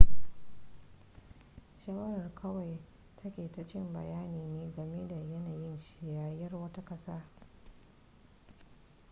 shawara kawai takaitaccen bayani ne game da yanayin siyasar wata kasa